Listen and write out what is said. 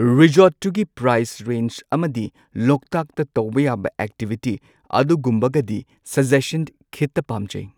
ꯔꯤꯖꯣꯔꯠꯇꯨꯒꯤ price range ꯑꯃꯗꯤ ꯂꯣꯛꯇꯥꯛꯇ ꯇꯧꯕ ꯌꯥꯕ ꯑꯦꯛꯇꯤꯚꯤꯇꯤ ꯑꯗꯨꯒꯨꯝꯕꯒꯗꯤ ꯁꯖꯦꯁꯟ ꯈꯤꯇ ꯄꯥꯝꯖꯩ꯫